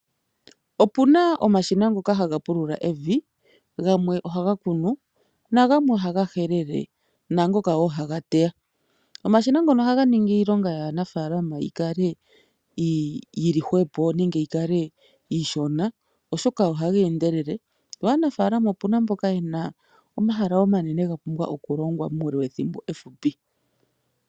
Puna omashina ngono haga pulula evi , gamwe ohaga kunu na gamwe ohaga helele naangoka wo haga teya . Omashina ngono ohaga ningi iilonga yaanafaalama yikale iihwepo nenge yokale iishona oshoka ohaga endelele , yo aanafaalama opu na mboka yena omahala omanene ngoka ga pumbwa okulongwa muule wethimbo efupi.